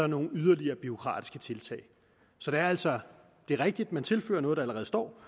nogle yderligere bureaukratiske tiltag så det er altså rigtigt at man tilfører noget der allerede står